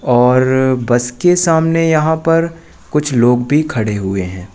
और बस के सामने यहां पर कुछ लोग भी खड़े हुए हैं।